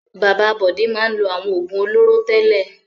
Bàbá Bọ̀dé máa ń lo àwọn òògùn olóró tẹ́lẹ̀.